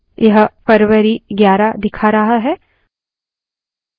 यह फरवारी 11 दिखा रहा है